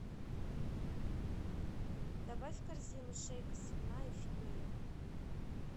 добавь в корзину шейка свиная филея